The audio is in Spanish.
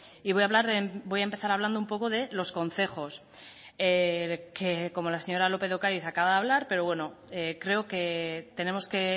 y voy a hablar voy a empezar hablando un poco de los concejos que como la señora lópez de ocáriz acaba de hablar pero bueno creo que tenemos que